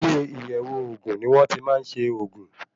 Ilé iyẹ̀wò ògùn ni wón ti máa ń ṣe ògùn.